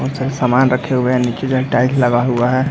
बहोत सारे समान रखे हुए हैं नीचे जो हैं टाइल्स लगा हुआ है ।